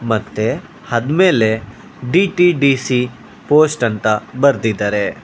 ಮತ್ತೆ ಆದ್ಮೇಲೆ D T D C post ಅಂತ ಬರ್ದಿದಾರೆ.